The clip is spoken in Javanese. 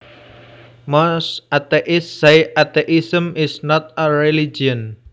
Most atheists say atheism is not a religion